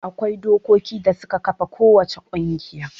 Akwai dokokin da suka kafa kowace ƙungiya.